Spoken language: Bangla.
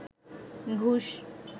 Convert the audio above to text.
ঘুষ